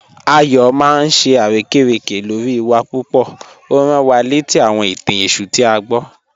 Ayọ maa n ṣe arẹkẹrẹkẹ lọ́ri wa pupọ̀, o rán wá lẹtí àwọn ìtàn Èṣù tí a gbọ̀."